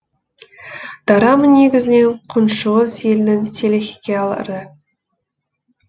дорама негізінен күншығыс елінің телехикиялары